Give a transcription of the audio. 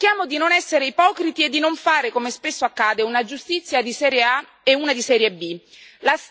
Ma cerchiamo di non essere ipocriti e di non fare, come spesso accade, una giustizia di serie A e una di serie B.